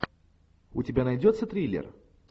у тебя найдется триллер